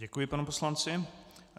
Děkuji panu poslanci.